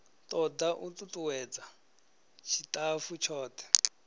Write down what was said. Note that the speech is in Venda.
toda u tutuwedza tshitafu tshothe